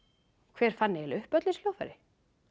hver fann eiginleg upp öll þessi hljóðfæri